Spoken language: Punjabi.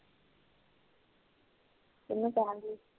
ਠੀਕ ਆ